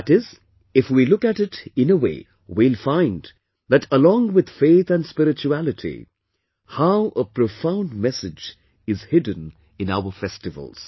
That is, if we look at it in a way, we will find that along with faith and spirituality, how a profound message is hidden in our festivals